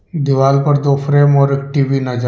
दीवाल पर दो फ्रेम और एक टी_वी नजर--